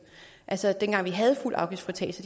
altså dengang vi havde fuld afgiftsfritagelse